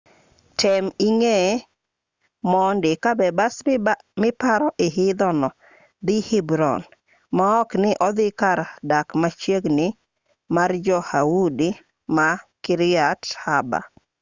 tem ing'e mondi ka be bas miparo idho no dhi hebron maok ni odhi kar dak machiegi mar jo-yahudi ma kiryat arba